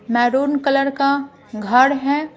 Maroon colour का घर है।